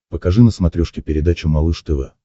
покажи на смотрешке передачу малыш тв